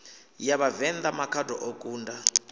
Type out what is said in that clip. ya vhavenḓa makhado o kunda